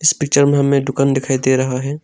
Picture में हमें दुकान दिखाई दे रहा है।